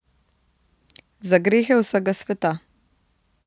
Za grehe vsega sveta.